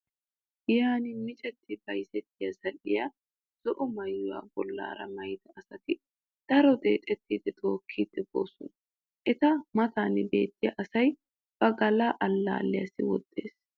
Giyan micetti bayzettiya zal"iyaa zo'o maayuwa bollaara maayida asati daro deexettidi tookkidi boosona. Eta matan beettiya asay ba galla allaalliyassi woxxees.